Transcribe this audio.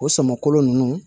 O sama kolo ninnu